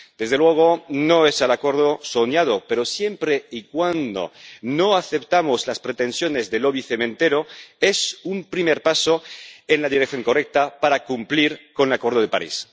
Desde luego, no es el acuerdo soñado, pero, siempre y cuando no aceptemos las pretensiones del lobby cementero, es un primer paso en la dirección correcta para cumplir con el Acuerdo de París.